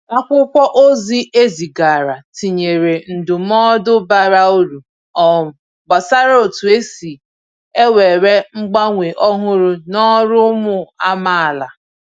Akwụkwọ ozi e zigaara tinyèrè ndụmọdụ bara uru um gbasàra otu esi ewere mgbanwe ọhụrụ n’ọrụ ụmụ amaala.